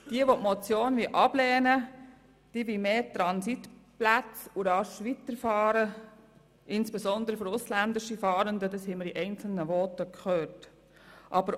Jene, welche die Motion ablehnen wollen, wollen mehr Transitplätze und rasch weiterfahren, insbesondere betreffend ausländische Fahrende, wie wir in einzelnen Voten gehört haben.